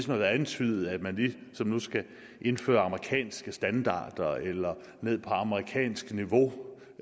har været antydet at man nu skal indføre amerikanske standarder eller ned på amerikansk niveau